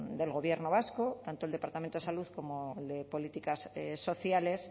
del gobierno vasco tanto el departamento de salud como el de políticas sociales